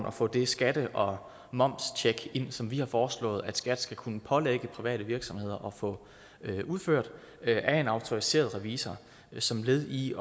at få det skatte og momstjek ind i loven som vi har foreslået at skat skal kunne pålægge private virksomheder at få udført af en autoriseret revisor som led i